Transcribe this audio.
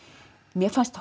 mér fannst